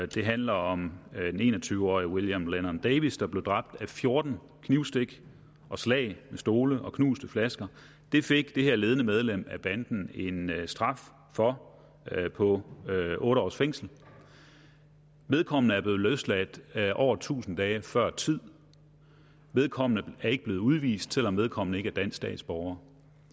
det handler om den en og tyve årige william lennon davis der blev dræbt af fjorten knivstik og slag med stole og knuste flasker det fik det her ledende medlem af banden en straf for på otte års fængsel vedkommende er blevet løsladt over tusind dage før tid vedkommende er ikke blevet udvist selv om vedkommende ikke er dansk statsborger